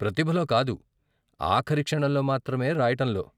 ప్రతిభలో కాదు ఆఖరి క్షణంలో మాత్రమే రాయటంలో.